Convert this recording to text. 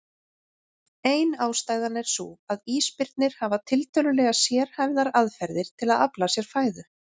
Ein ástæðan er sú að ísbirnir hafa tiltölulega sérhæfðar aðferðir til að afla sér fæðu.